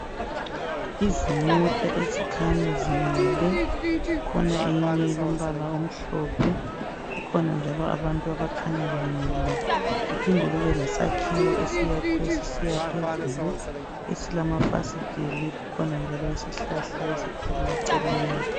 Izimota ezikhanya zimile kukhona eyinye elombala omhlophe kukhona njalo abantu abakhanya bemile kuphinde kube lesakhiwo esiyakhwe sisiya phezulu esilamafasiteli kukhona njalo isihlahla esikhulu eceleni